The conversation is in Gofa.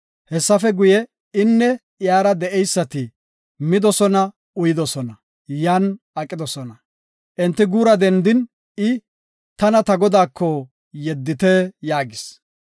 Hessafe guye, inne iyara de7eysati midosona uyidosona; yan aqidosona. Enti guura dendin, I, “Tana ta godaako yeddite” yaagis.